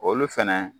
Olu fɛnɛ